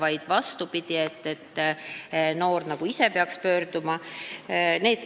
Ettepanekute järgi peaks noor nagu ise pöörduma.